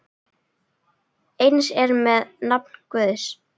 Eins er með nafn Guðs.